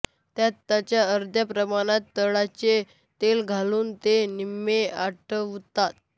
त्यात त्याच्या अर्ध्या प्रमाणात तिळाचे तेल घालून ते निम्मे आटवतात